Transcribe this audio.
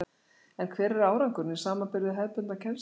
En hver er árangurinn í samanburði við hefðbundna kennslu?